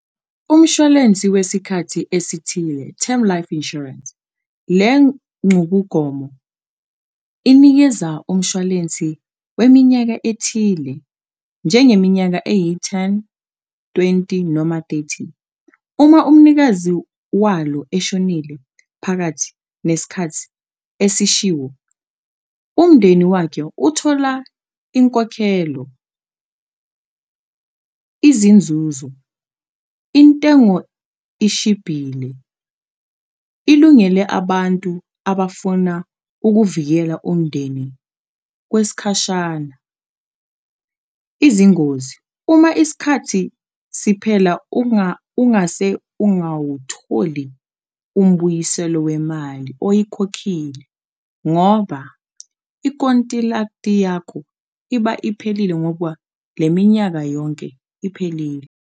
Umshwalensi wesikhathi esithile term life insurance, le ncubugomo inikeza umshwalensi weminyaka ethile njengeminyaka eyi-ten, twenty noma thirty, uma umnikazi walo eshonile phakathi neskhathi esishiwo umndeni wakhe uthola inkokhelo . Izinzuzo intengo ishibhile ilungele abantu abafuna ukuvikela umndeni kweskhashana, izingozi uma isikhathi siphela ungase ungawutholi umbuyiselo wemali oyikhokhile ngoba ikontilakti yakho iba iphelile ngoba le minyaka yonke iphelile.